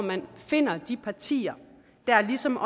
man finder de partier der ligesom